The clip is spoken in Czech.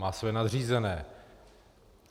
Má svoje nadřízené.